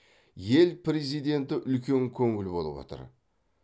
ел президенті үлкен көңіл болып отыр